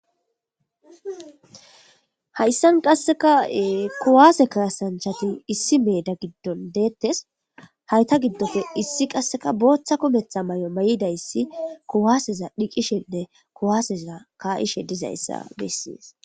Hayssan qasseka kuwaase kaasanchati issi meeda giddon deettes hayta giddofe issi qasseka booththa kumetha may'o may'idayssi kuwaaseza dhiqishenne kuwaaseza kaa'ishe dizayssa bessies.